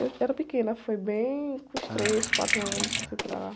Eu era pequena, foi bem com os três, quatro anos que eu fui para lá.